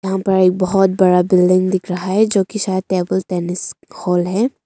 बहुत बड़ा बिल्डिंग दिख रहा है जो कि शायद टेबल टेनिस हॉल है।